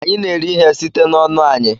Anyị na-eri ihe site n'ọnụ anyị